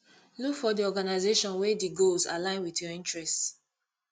look for di organisation wey di goals align with your interest